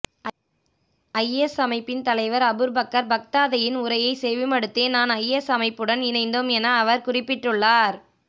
IS அமைப்பின் தலைவர் Abu Bakr பக்தாதியின் உரையை செவிமடுத்தே நான் ஐஎஸ் அமைப்புடன் இணைந்தோம் என அவர் குறிப்பிட்டுள்ளார்